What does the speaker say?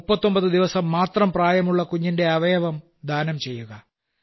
39 ദിവസം മാത്രം പ്രായമുള്ള കുഞ്ഞിന്റെ അവയവം ദാനം ചെയ്യുക